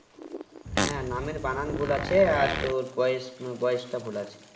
হ্যাঁ নামের বানান ভুল আছে আর তোর বয়েসবয়েসটা ভুল আছে